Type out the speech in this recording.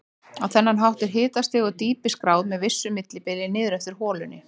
Á þennan hátt er hitastig og dýpi skráð með vissu millibili niður eftir holunni.